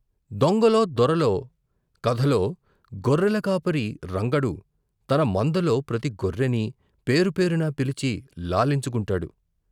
దొంగలో దొరలో ' కథలో గొర్రెల కాపరి రంగడు తన మందలో ప్రతి గొర్రెనీ పేరు పేరునా పిలిచి లాలించు కుంటాడు.